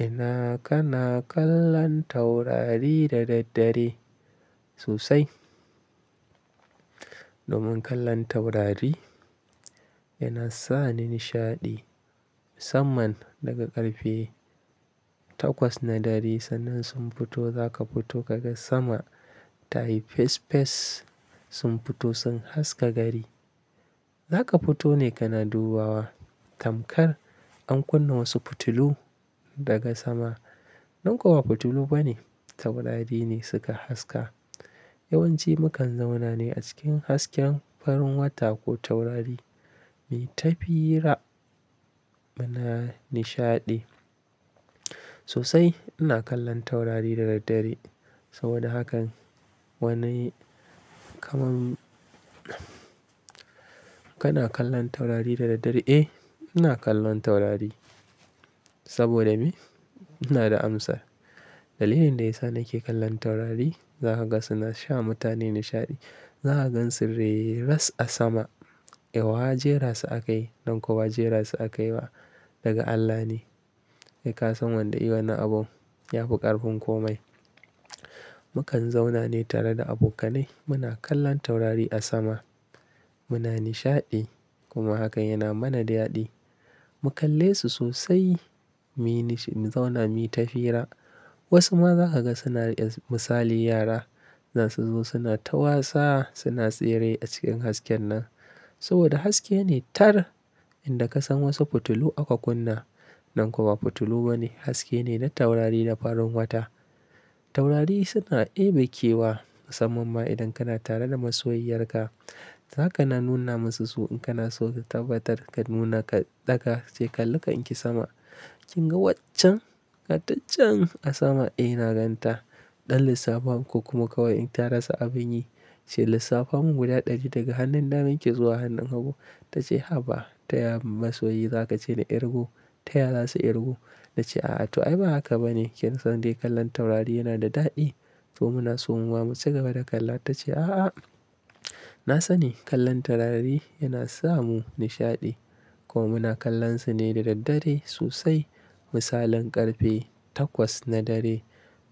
Ina kana kallon taurari da daddare sosai. Domin kallon taurari yana sa ni nishaɗi. Musamman daga ƙarfe takwas na dare sannan sun fito, za ka fito ka ga sama tayi fes fes sun fito sun haska gari. Za ka fito ne kana dubawa tamkar an kunna wasu fitilu daga sama. Nan kuwa ba fitilu bane, taurari ne suka haska. Yawanci mukan zauna ne a cikin hasken farin wata ko taurari. Muyi ta fira muna nishaɗi. Sosai ina kallon taurari da daddare. Saboda hakan wani kaman kana kallon taurari da daddare? Eh ina kallon taurari. Saboda me? Ina da amsar. Dalilin da ya sa nake kallon taurari za ka ga suna sa mutane nishaɗi. Za ka gansu reras a sama. Eh wa jera su akayi? Nan kau ba jera su akayi ba daga Allah ne. Eh ka san wanda yai wannan abun ya fi ƙarfin komai. Mukan zauna ne tare da abokanai muna kallon taurari a sama. Muna nishaɗi kuma hakan yana mana daɗi. Mu kalle su sosai mu zauna mu yi ta fira. Wasu ma za ka ga suna misali yara zasu zo suna ta wasa suna tsere a cikin hasken nan. Saboda haske ne tar inda ka san wasu fitilu aka kunna. Nan kau ba fitilu bane haske ne na taurari da farin wata. Taurari suna ɗebe kewa musamman ma idan kana tare da masoyiyar ka. Za ka na nuna masu su in kana so ka tabbatar ka nuna ka ɗaga ka ce kalli kanki sama. Kin ga waccen gatacen a sama? Eh na ganta. Ɗan lissafan ko kuma kawai in ta rasa abin yi. Ce lissafin mun guda ɗari daga hannun daman ki zuwa hannun hagu. Ta ce haba ta ya masoyi za ka ce na ƙirgo. Ta ya zasu ƙirgu. Na ce a'a to ai ba haka bane kin son dai kallon taurari yana da daɗi. To muna so muma muci gaba da kalla. Ta ce a'a. Na sani kallon taurari yana sa mu nishaɗi. Kuma kallon su ne da daddare sosai. Misalin ƙarfe takwas na dare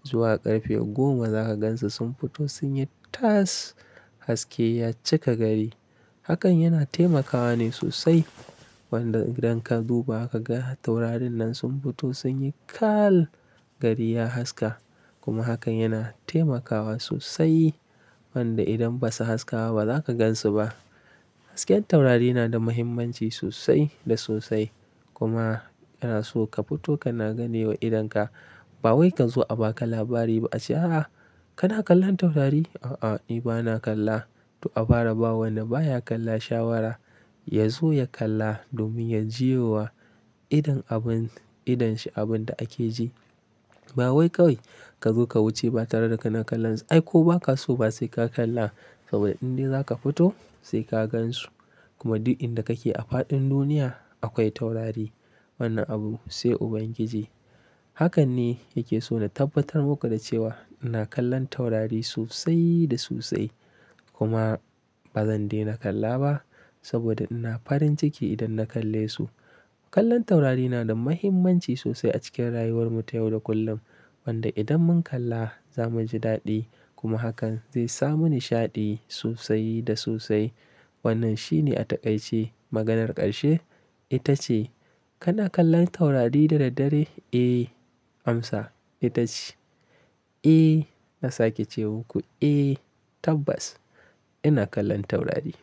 zuwa ƙarfe goma za ka gansu sun fito sun yi tas haske ya cika gari. Hakan yana taimakawa ne sosai. Wanda idan ka duba ka ga taurarin nan sun fito sun yi kal gari ya haska. Kuma hakan yana taimakawa sosai. Wanda idan ba su haskawa ba za ka gansu ba. Hasken taurari na da muhimmanci sosai da sosai. Kuma yana so ka fito kana ganewa idon ka. Ba wai ka zo a baka labari ba, ace a a kana kallon taurari? A a ni bana kalla. To a fara ba wanda baya kalla shawara, ya zo ya kalla domin ya jiyo wa idon abun idon shi abunda ake ji. Ba wai kawai ka zo ka wuce ba tare da kana kallon su. Ai ko ba ka so ba sai ka kalla saboda in dai za ka fito sai ka gansu. Kuma duk inda kake a faɗin duniya akwai taurari. Wannan abu sai Ubangiji. Hakan ne yake so na tabbatar muku da cewa ina kallon taurari sosai da sosai. Kuma ba zan daina kalla ba saboda ina farin ciki idan na kalle su. Kallon taurari yana da muhimmanci sosai a cikin rayuwar mu ta yau da kullum. Wanda idan mun kalla za muji daɗi kuma hakan zai sa mu nishaɗi sosai da sosai. Wannan shine a taƙaice, maganar ƙarshe. Ita ce, kana kallon taurari da daddare? Eh amsa ita ce. Eh na sake ce muku eh tabbas ina kallon taurari.